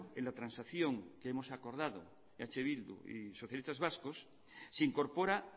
en la transacción que hemos acordado eh bildu y socialistas vascos se incorpora